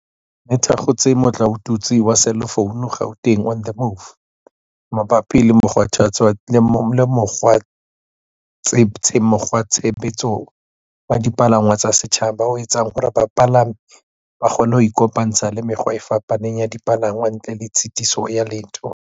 le thakgotse motlaotutswe wa selefounu, Gauteng on the Move, mabapi le mokgwatshebetso wa dipalangwang tsa setjhaba o etsang hore bapalami ba kgone ho ikopantsha le mekgwa e fapaneng ya dipalangwang ntle le tshitiso ya letho.